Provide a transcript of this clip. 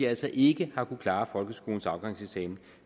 altså ikke har kunnet klare folkeskolens afgangseksamen